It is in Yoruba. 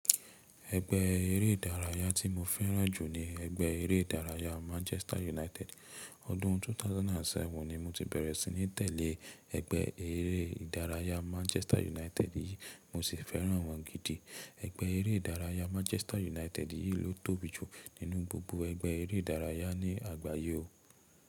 Ẹgbẹ́ eré ìdárayá tí mo fẹ́ràn jù ni ẹgbẹ́ eré ìdárayá Manchester United. Ọdún 2007 ni mo ti bẹ̀rẹ̀ sí ní tẹ̀lé ẹgbẹ́ eré ìdárayá Manchester United yìí, mo sì fẹ́ràn wọ́n gidi. Ẹgbẹ́ eré ìdárayá Manchester United yìí ló tóbi jù nínú gbogbo ẹgbẹ́ eré ìdárayá ní àgbáyé o.